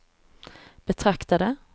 betraktade